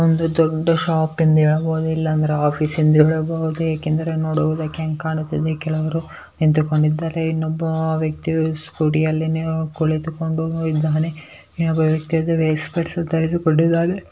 ಒಂದು ದೊಡ್ಡ ಶಾಪ್ ಎಂದು ಹೇಳಬಹುದು ಇಲ್ಲ ಅಂದರೆ ದೊಡ್ಡ ಆಫೀಸ್ ಎಂದು ಹೇಳಬಹುದು. ಏಕೆಂದರೆ ನೋಡುವುದಕ್ಕೆ ಅಂಗೇ ಕಾಣುತ್ತಿದೆ. ಕೆಲವರು ನಿಂತುಕೊಂಡಿದ್ದಾರೆ ಇನ್ನೊಬ್ಬ ವ್ಯಕ್ತಿಯು ಸ್ಕೂಟಿಯಲ್ಲಿ ಕುಳಿತುಕೊಂಡು ಇದ್ದಾನೆ. ಇನ್ನೊಬ್ಬ ವ್ಯಕ್ತಿಯು ವೈಟ್ ಶರ್ಟ್ ಅನ್ನು ಧರಿಸಿಕೊಂಡಿದ್ದಾನೆ.